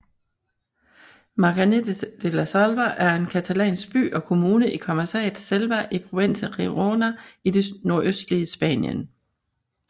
Maçanet de la Selva er en catalansk by og kommune i comarcaet Selva i provinsen Girona i det nordøstlige Spanien